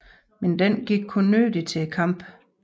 Men den gik kun nødig til kampen